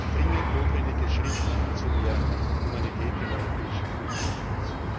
Ein dringend notwendiger Schritt hin zu mehr Humanität im europäischen Flüchtlingsschutz.